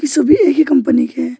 सभी एक ही कंपनी के--